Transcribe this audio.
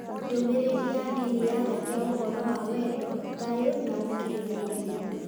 Ndũmĩrĩri ya ndini yaragia ũhoro wa wendo, thayũ, na ũkirĩrĩria.